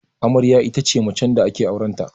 Amarya ita ce macen da ake auren ta